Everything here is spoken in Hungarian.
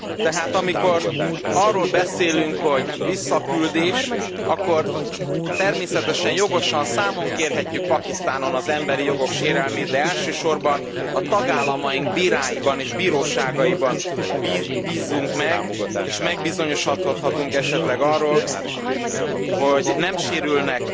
Tehát amikor arról beszélünk, hogy visszaküldés, akkor természetesen jogosan számon kérhetjük Pakisztánon az emberi jogok sérelmét, de elsősorban a tagállamaink bíráiban és bíróságaiban bízzunk meg és megbizonyosodhatunk esetleg arról, hogy nem sérülnek